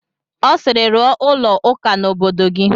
Ọ sịịrị, rụọ ụlọ ụka n'obodo gị!